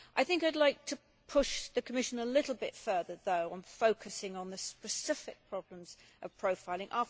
I would like to push the Commission a little bit further, though, on focusing on the specific problems of profiling.